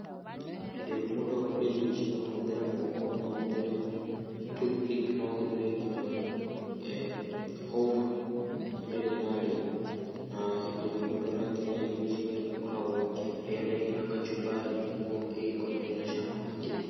Hĩndĩ ĩrĩa mũndũ akũrĩa irio ici no ũhũthĩre moko, no ũhũthĩre toothpick no ũhũthĩre nginya hũma hĩndĩ ĩrĩa ararĩa. Na hĩndĩ ĩrĩa mũndũ arakĩrĩa irio ici nĩ akoragwo akĩrĩanĩria na kachumbari nĩguo ĩgĩkorwo ĩna cama makĩria.